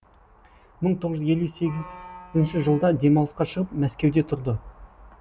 мың тоғыз жүз елу сегізінші жылда демалысқа шығып мәскеуде тұрды